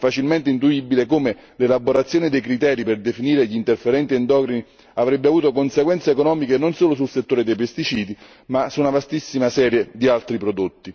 È facilmente intuibile come l'elaborazione dei criteri per definire gli interferenti endocrini avrebbe avuto conseguenze economiche non solo sul settore dei pesticidi ma su una vastissima serie di altri prodotti